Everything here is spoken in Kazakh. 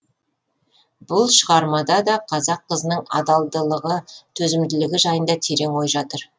бұл шығармада да қазақ қызының адалдылығы төзімділігі жайында терең ой жатыр